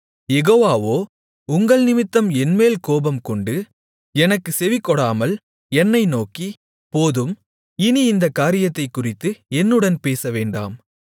யெகோவாவோ உங்கள்நிமித்தம் என்மேல் கோபம்கொண்டு எனக்குச் செவிகொடாமல் என்னை நோக்கி போதும் இனி இந்தக் காரியத்தைக்குறித்து என்னுடன் பேசவேண்டாம்